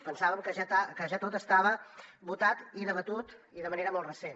pensàvem que ja tot estava votat i debatut i de manera molt recent